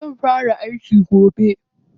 Zan fara aiki gobe.